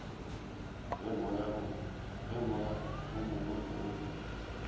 ge moya o mongwe o